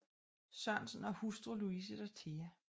Sørensen og hustru Louise Dorthea f